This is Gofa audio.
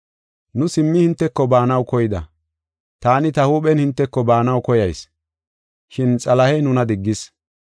Nu simmi hinteko baanaw koyida. Taani ta huuphen hinteko baanaw koyas, shin Xalahey nuna diggis.